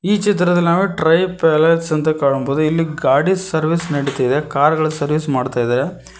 ಈ ಚಿತ್ರದಲ್ಲಿ ನಾವು ಟ್ರೈ ಪ್ಯಾಲೇಸ್ ಅಂತ ಕಾಣಬಹುದು ಇಲ್ಲಿ ಗಾಡಿ ಸರ್ವಿಸ್ ನಡೀತಿದೆ ಕಾರು ಗಳ ಸರ್ವಿಸ್ ಮಾಡುತ್ತಿದ್ದಾರೆ.